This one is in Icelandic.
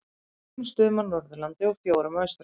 Tveimur stöðum á Norðurlandi og fjórum á Austurlandi.